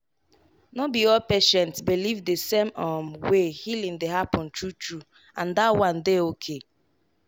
no be all patient believe the same um way healing dey happen true true—and that one dey okay.